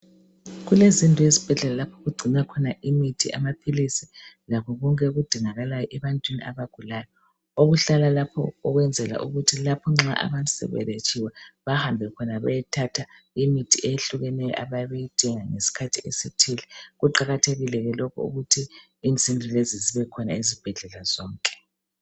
Kulezindlu ezibhedlela lapho okugcinwa khona imithi, amaphilisi lakho konke okudingakalayo ebantwini abagulayo okuhlala lapho ukwenzela ukuthi abantu lapho nxa seberetshiwe bahambe khona bayathatha imithi ehlukeneyo abayabe beyidinga ngeskhathi esithile. Kuqakathekile ke lokhu ukuthi izindlu lezi zibekhona ezibhedlela zonke.